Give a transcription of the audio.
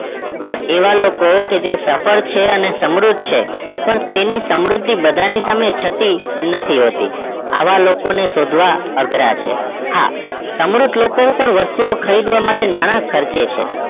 પણ એવા લોકો કે જે સફળ છે અને સમૃદ્ધ છે પણ તેની સમૃદ્ધિ બધા ની સામે છતી નથી હોતી આવા લોકો શોધવા અઘરા છે હા સમૃદ્ધ લોકો વસ્તુ ખરીદવા માટે નાણાં ખર્ચે છે